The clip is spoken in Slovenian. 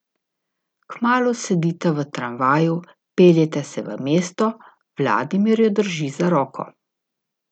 Kmalu sedita v tramvaju, peljeta se v mesto, Vladimir jo drži za roko.